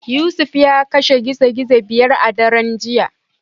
Yusuf ya kashe gizo gizo biyar a daren jiya.